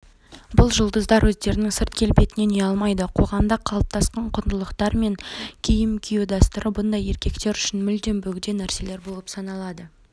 бұл жұлдыздар өздерінің сырт келбетінен ұялмайды қоғамда қалыптасқан құндылықтар менен киім кию дәстүрі бұндай еркектер үшін мүлдем бөгде нәрселер болып саналады